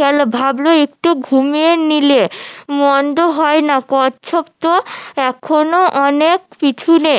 গেলো ভাবলো একটু ঘুমিয়ে নিলে মন্দ হয়না কচ্ছপ তো এখনো অনেক পিছুনে